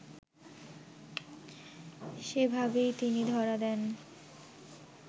সেভাবেই তিনি ধরা দেন